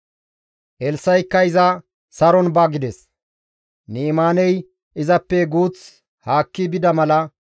Elssa7ikka iza, «Saron ba» gides. Ni7imaaney izappe guuth haakki bida mala,